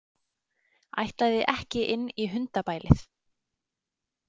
Ætlaði ekki inn í hundabælið.